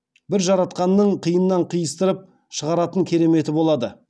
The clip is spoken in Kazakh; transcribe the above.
бір жаратқанның қиыннан қиыстырып шығаратын кереметі болады